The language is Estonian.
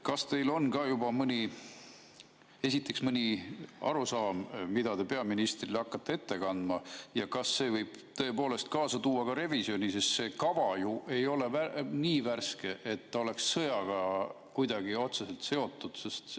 Kas teil on esiteks mõni arusaam, mida te peaministrile hakkate ette kandma, ja kas see võib tõepoolest kaasa tuua ka revisjoni, sest see kava ju ei ole nii värske, et ta oleks kuidagi otseselt sõjaga seotud?